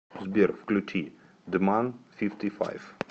сбер включи дман фифти файв